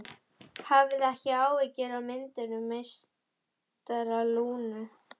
Hafið ekki áhyggjur af myndum meistara Lúnu.